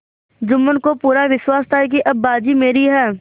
जुम्मन को पूरा विश्वास था कि अब बाजी मेरी है